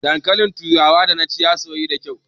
Dankalin turawan da naci ya soyu da kyau